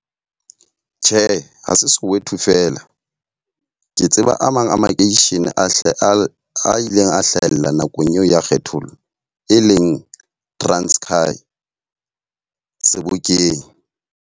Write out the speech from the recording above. Tjhe, ha se Soweto feela. Ke tseba a mang a makeishene a hle a a ileng a hlahella nakong eo ya kgethollo. E leng Transkai, Sebokeng.